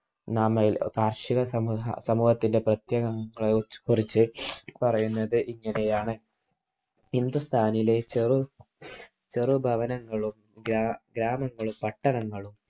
നാമയിൽ കാർഷിക സമൂഹത്തിൻ്റെ ബന്ധനങ്ങളെക്കുറിച്ച് പറയുന്നത് ഇങ്ങനെയാണ്. ഹിന്ദുസ്ഥാനിയിലെ ചെറു ഭവനങ്ങളൂം ഗ്രാമങ്ങളും പട്ടണങ്ങളും